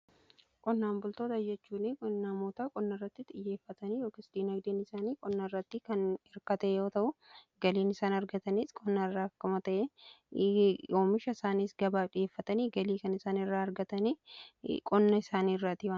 Qonnaan bultoota jechuun namoota qonna irratti xiyyeeffatanii yookiis dinagdeen isaanii qonna irratti kan hirkate yoo ta'u, galiin isaan argatanis qonnaa irraa akkuma ta'e oomisha isaaniis gabaaf dhiyeeffatanii galii kan isaan irraa argatanii qonna isaanii irrattidha.